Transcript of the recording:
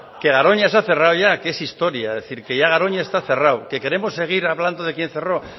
que garoña se ha cerrado ya que es historia es decir que ya garoña está cerrado que queremos seguir hablando de quién cerró